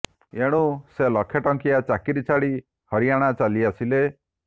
ଏଣୁ ସେ ଲକ୍ଷେ ଟଙ୍କିଆ ଚାକିରି ଛାଡ଼ି ହରିୟାଣା ଚାଲି ଆସିଲେ